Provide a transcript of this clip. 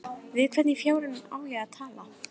Við hvern í fjáranum á ég að tala?